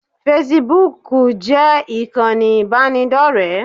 Fesibúùkù jẹ́ ìkànnì ìbánidọ́rẹ̀ẹ́.